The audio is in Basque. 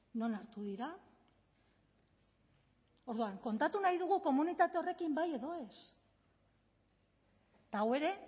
non hartu dira orduan kontatu nahi dugu komunitate horrekin bai edo ez eta hau ere